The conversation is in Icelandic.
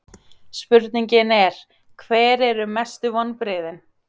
Spurningin er: Hver eru mestu vonbrigðin?